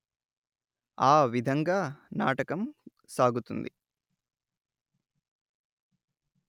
ఆ విధంగా నాటకం సాగుతుంది